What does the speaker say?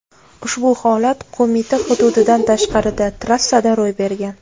Ushbu holat Qo‘mita hududidan tashqarida, trassada ro‘y bergan.